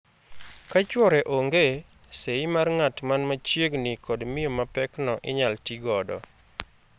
Ka chwore onge, seyi mar ng'at man ma chiegni kod miyo mapekno inyal tii godo.